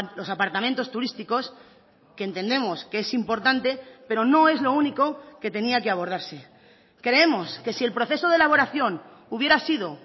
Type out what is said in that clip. los apartamentos turísticos que entendemos que es importante pero no es lo único que tenía que abordarse creemos que si el proceso de elaboración hubiera sido